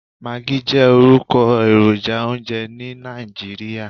Maggi jẹ́ orúkọ èròjà oúnjẹ ní Nàìjíríà.